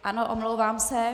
Ano, omlouvám se.